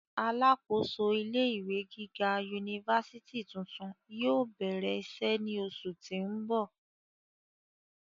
Alákòóso ilé ìwé gíga unifási tuntun yóò bẹrẹ iṣẹ ni oṣu ti n bọ.